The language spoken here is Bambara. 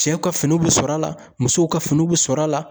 Cɛw ka finiw bɛ sɔrɔ a la musow ka finiw bɛ sɔrɔ a la.